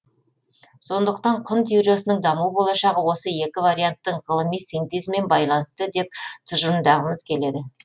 сондықтан құн теориясының даму болашағы осы екі варианттың ғылыми синтезімен байланысты деп тұжырымдағымыз келеді